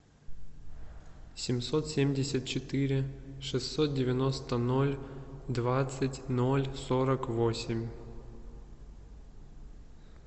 семьсот семьдесят четыре шестьсот девяносто ноль двадцать ноль сорок восемь